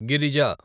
Girija